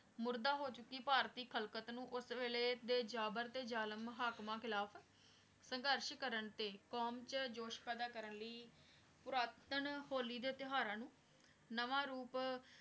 ਮੁਰਦਾ ਹੋ ਚੁਕੀ ਭਾਰਤੀ ਖਾਲ੍ਕ਼ਾਤ ਨੂ ਓਸ ਵੀਲਾਯ ਦੇ ਜਬਰ ਤੇ ਜ਼ਾਲਿਮ ਹਕੀਮਾਂ ਖਿਲਾਫ਼ ਸੰਗਾਰ੍ਸ਼ ਕਰਨ ਤੇ ਕ਼ੋਉਮ ਚ ਜੋਸ਼ ਪੈਦਾ ਕਰਨ ਲੈ ਪੁਰਾਤਨ ਹੋਲੀ ਦੇ ਤੇਉਹਾਰਾਂ ਨੂ ਨਾਵਾ ਰੂਪ